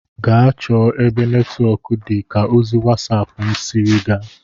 Gaa chọọ ebe netwọk dị ka ozi wasap m sịrị gaa!